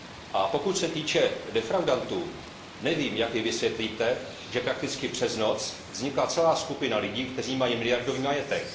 A co se týče defraudantů, nevím, jak mi vysvětlíte, že prakticky přes noc vznikla celá skupina lidí, kteří mají miliardový majetek.